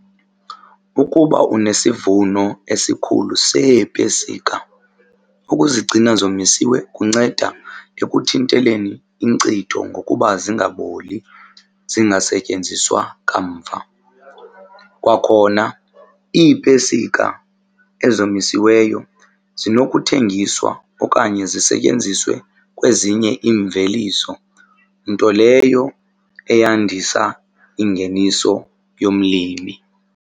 Ukuba unesivuno esikhulu seepesika, ukuzigcina zomisiwe kunceda ekuthinteleni inkcitho ngokuba zingaboli zingasetyenziswa kamva. Kwakhona iipesika ezomisiweyo zinokuthengiswa okanye zisetyenziswe kwezinye iimveliso nto leyo eyandisa ingeniso yomlimi.